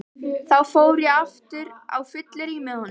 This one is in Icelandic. Þá fór ég aftur á fyllerí með honum.